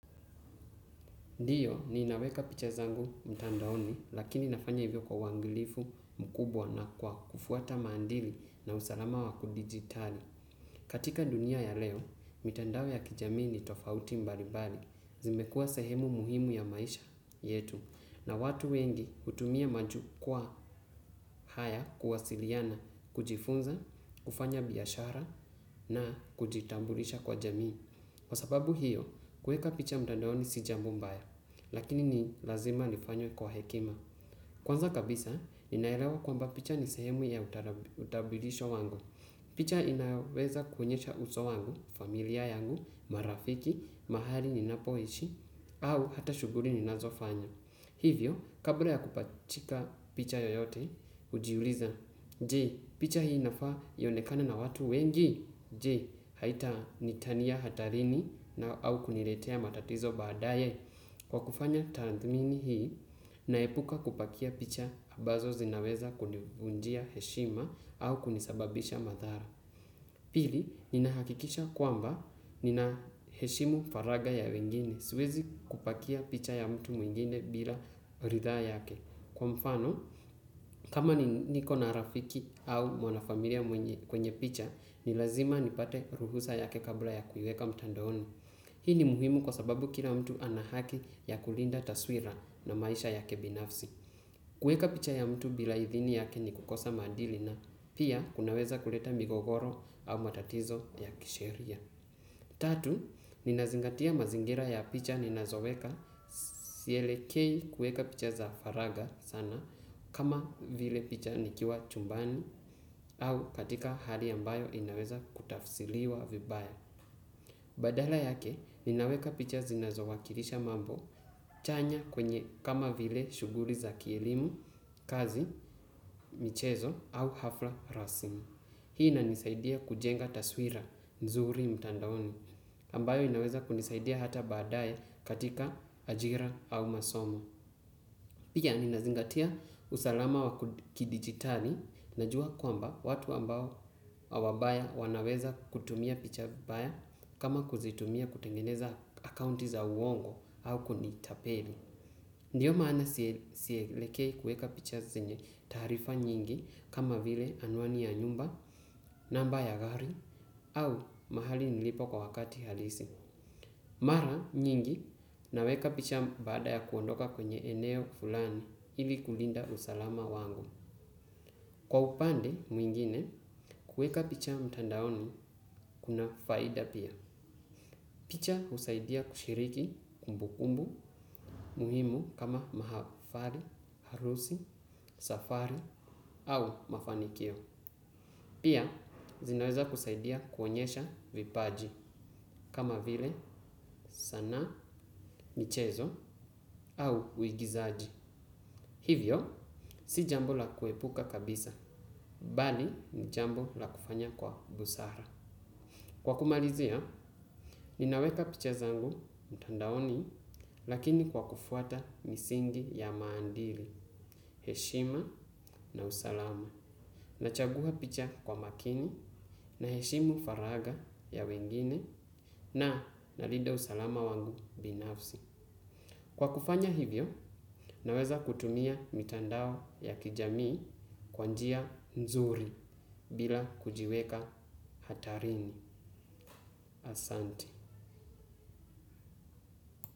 Ndio, ninaweka picha zangu mtandaoni, lakini nafanya hivyo kwa uangilifu mkubwa na kwa kufuata maandili na usalama wa kudigitali. Katika dunia ya leo, mitandao ya kijamii ni tofauti mbalimbali. Zimekua sehemu muhimu ya maisha yetu. Na watu wengi hutumia majukwa haya kuwasiliana, kujifunza, kufanya biashara na kujitambulisha kwa jamii. Kwa sababu hio, kuweka picha mtandaoni si jambo mbaya, lakini ni lazima lifanywe kwa hekima. Kwanza kabisa, ninaelewa kwamba picha ni sehemu ya utabulisho wangu. Picha inaweza kuonyesha uso wangu, familia yangu, marafiki, mahali ninapoishi, au hata shuguri ninazofanya. Hivyo, kabla ya kupachika picha yoyote, hujiuliza, je, picha hii inafaa ionekane na watu wengi? Je, haita niitania hatarini na au kuniretea matatizo baadaye. Kwa kufanya tathmini hii, naepuka kupakia picha abazo zinaweza kunivunjia heshima au kunisababisha madhara. Pili, ninahakikisha kwamba nina heshimu faragha ya wengine. Siwezi kupakia picha ya mtu mwingine bila ridhaa yake. Kwa mfano, kama ni niko na rafiki au mwanafamilia mwenye picha, ni lazima nipate ruhusa yake kabla ya kuiweka mtandaoni. Hii ni muhimu kwa sababu kila mtu ana haki ya kulinda taswira na maisha yake binafsi. Kueka picha ya mtu bila idhini yake ni kukosa maadili na pia kunaweza kuleta migogoro au matatizo ya kisheria. Tatu, ninazingatia mazingira ya picha ninazoweka. Sielekei kueka picha za faragha sana kama vile picha nikiwa chumbani au katika hali ambayo inaweza kutafsiliwa vibaya. Badala yake, ninaweka picha zinazowakilisha mambo chanya kwenye kama vile shughuli za kielimu, kazi, michezo au hafla rasmi. Hii inanisaidia kujenga taswira nzuri mtandaoni, ambayo inaweza kunisaidia hata badaye katika ajira au masomo. Pia ninazingatia usalama wa kidigitali. Najua kwamba watu ambayo au wabaya wanaweza kutumia picha vibaya kama kuzitumia kutengeneza akaunti za uongo au kunitapeli. Ndio maana sielekei kueka picha zenye taarifa nyingi kama vile anwani ya nyumba, namba ya gari au mahali nilipo kwa wakati halisi. Mara nyingi naweka picha baada ya kuondoka kwenye eneo fulani ili kulinda usalama wangu. Kwa upande mwingine kueka picha mtandaoni kuna faida pia. Picha husaidia kushiriki kumbukumbu muhimu kama uhafali, harusi, safari au mafanikio. Pia, zinaweza kusaidia kuonyesha vipaji kama vile sanaa, michezo au uigizaji. Hivyo, si jambo la kuepuka kabisa, bali ni jambo la kufanya kwa busara. Kwa kumalizia, ninaweka picha zangu mtandaoni lakini kwa kufuata misingi ya maandili, heshima na usalama. Nachagua picha kwa makini naheshimu faragha ya wengine, na nalinda usalama wangu binafsi. Kwa kufanya hivyo naweza kutumia mitandao ya kijamii, kwa njia nzuri bila kujiweka hatarini.